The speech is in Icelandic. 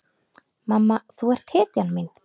Mamma þú ert hetjan mín.